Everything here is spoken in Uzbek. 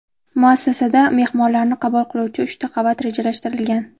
Muassasada mehmonlarni qabul qiluvchi uchta qavat rejalashtirilgan.